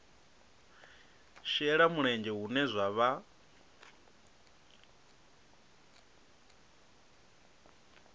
shela mulenzhe hune zwa vha